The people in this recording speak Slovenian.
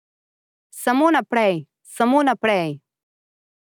Samo naprej, samo naprej ...